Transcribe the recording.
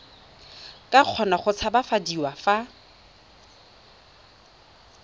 ka kgona go tshabafadiwa fa